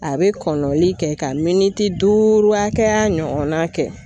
A bɛ kɔnɔnoli kɛ, ka duuru hakɛya ɲɔgɔnna kɛ.